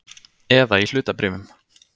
Eða í hlutabréfum.